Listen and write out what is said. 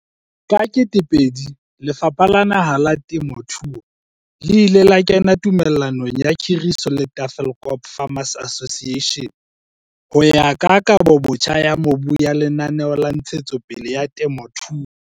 Ka 2000, Lefapha la Naha la Temothuo le ile la kena tumellanong ya khiriso le Tafelkop Farmers Association ho ya ka Kabobotjha ya Mobu ya Lenaneo la Ntshetsopele ya Temothuo.